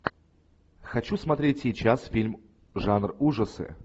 хочу смотреть сейчас фильм жанр ужасы